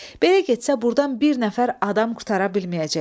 Belə getsə burdan bir nəfər adam qurtara bilməyəcək.